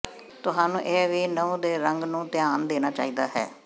ਤੁਹਾਨੂੰ ਇਹ ਵੀ ਨਹੁੰ ਦੇ ਰੰਗ ਨੂੰ ਧਿਆਨ ਦੇਣਾ ਚਾਹੀਦਾ ਹੈ